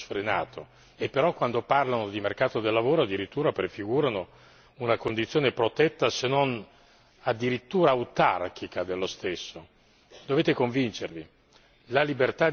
che sono da sempre teorici del liberismo più sfrenato e, però, quando parlano di mercato del lavoro addirittura prefigurano una condizione protetta se non addirittura autarchica dello stesso.